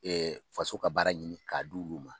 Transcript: faso ka baara ɲini k'a d'olu ma